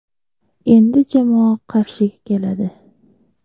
Endi jamoa Qarshiga keladi.